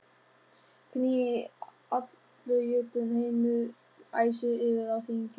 Gnýr allur Jötunheimur, æsir eru á þingi.